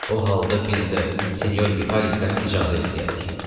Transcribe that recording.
O halda biz də sinyor Vitalisdən icazə istəyərik.